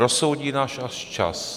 Rozsoudí nás až čas.